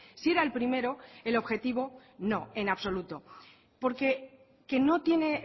si era el primero el objetivo no en absoluto porque que no tiene